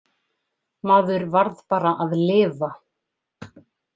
Maður varð bara að lifa.